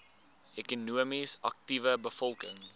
ekonomies aktiewe bevolking